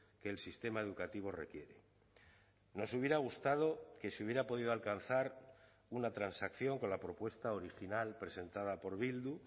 que el sistema educativo requiere nos hubiera gustado que se hubiera podido alcanzar una transacción con la propuesta original presentada por bildu